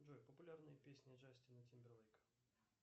джой популярные песни джастина тимберлейка